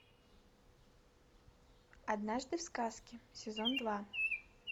однажды в сказке сезон два